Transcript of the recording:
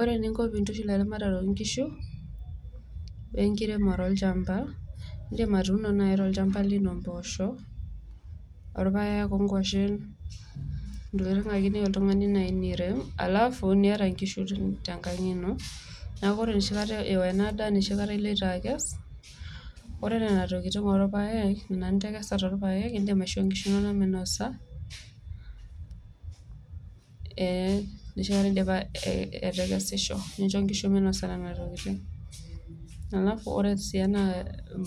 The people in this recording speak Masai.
Ore niinko pii intushul eramatare oo inkishu we enkiremore olchamba, indiim atuuno enai olchamba lino imbosho oo ilpayek ongoshen ntokitin ake niyeu oltungani nirem alafu nieta enkishu tenkang' ino naaku ore neshi kata ewen imieta nieas, ore nena tokitin orpaek ina nintengesa too ilpayek indim aisho inkishu inono meinosa eitu iashisho nincho nkishu inono nenia tokitini alafu ore sii ena